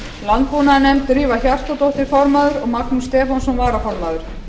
landbúnaðarnefnd drífa hjartardóttir formaður og magnús stefánsson varaformaður